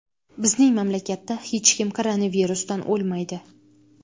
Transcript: Bizning mamlakatda hech kim koronavirusdan o‘lmaydi.